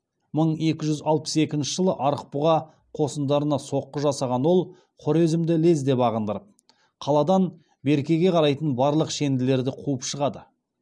мың екі жүз алпыс екінші жылы арықбұға қосындарына соққы жасаған ол хорезмді лезде бағындырып қаладан беркеге қарайтын барлық шенділерді қуып шығады